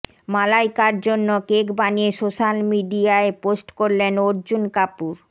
মালাইকার জন্য কেক বানিয়ে সোশ্যাল মিডিয়ায় পোস্ট করলেন অর্জুন কাপুর